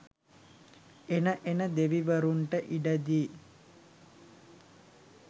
එන එන දෙවිවරුන්ට ඉඩ දී